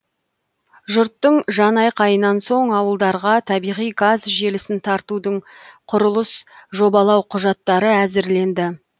жұрттың жанайқайынан соң ауылдарға табиғи газ желісін тартудың құрылыс жобалау құжаттары әзірленді